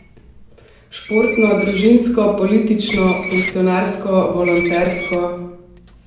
Športno, družinsko, politično, funkcionarsko, volontersko...